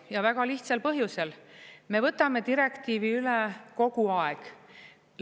Ja väga lihtsal põhjusel: me võtame direktiivi üle kogu aeg.